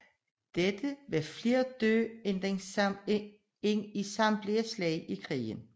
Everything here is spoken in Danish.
Dette var flere døde end i samtlige slag i krigen